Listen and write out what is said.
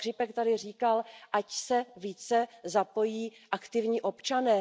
Pan Škripek tady říkal, ať se více zapojí aktivní občané.